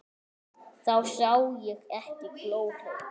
Þá sá ég ekki glóru.